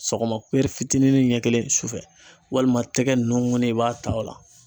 Sɔgɔma fitininin ɲɛ kelen sufɛ, walima tɛgɛ nugunin i b'a ta o la.